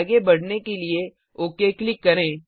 आगे बढ़ने के लिए ओक क्लिक करें